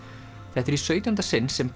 þetta er í sautjánda sinn sem